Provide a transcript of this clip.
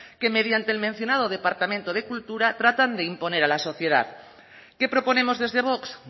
que mediante el mencionado departamento de cultura tratan de imponer a la sociedad qué proponemos desde vox